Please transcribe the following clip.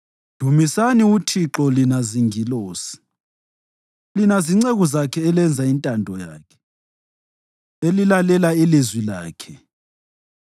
Dumisani uThixo, lina zingilosi, lina zinceku zakhe elenza intando yakhe, elilalela ilizwi lakhe.